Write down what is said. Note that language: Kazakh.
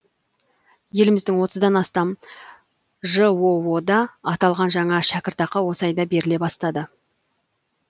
еліміздің отыздан астам жоо да аталған жаңа шәкіртақы осы айда беріле бастады